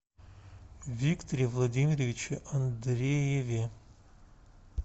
викторе владимировиче андрееве